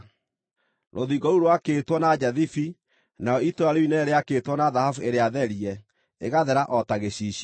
Rũthingo rũu rwakĩtwo na njathibi, narĩo itũũra rĩu inene rĩakĩĩtwo na thahabu ĩrĩa therie, ĩgathera o ta gĩcicio.